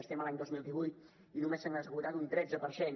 estem a l’any dos mil divuit i només se n’ha esgotat un tretze per cent